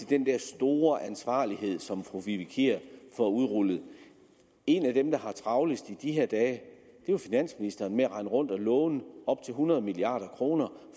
den der store ansvarlighed som fru vivi kier får udrullet en af dem der har travlest i de her dage er jo finansministeren med at rende rundt og låne op til hundrede milliard kroner